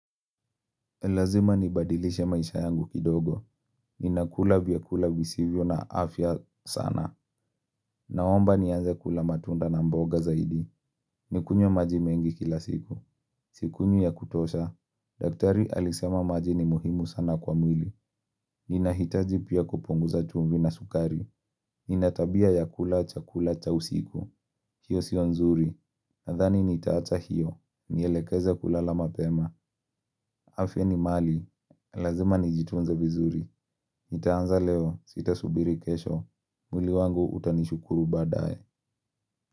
Lazima nibadilishe maisha yangu kidogo. Ninakula vyakula visivyo na afya sana. Naomba nianze kula matunda na mboga zaidi. Nikunywe maji mengi kila siku. Sikunywi ya kutosha. Daktari alisema maji ni muhimu sana kwa mwili. Ninahitaji pia kupunguza chumvi na sukari. Ninatabia ya kula, chakula, cha usiku. Hiyo sio nzuri. Nadhani nitaacha hiyo. Nielekeze kulala mapema. Afya ni mali. Lazima nijitunze vizuri. Nitaanza leo, sitasubiri kesho. Mwili wangu utanishukuru baadaye.